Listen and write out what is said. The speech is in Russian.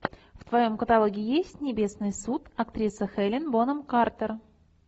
в твоем каталоге есть небесный суд актриса хелена бонем картер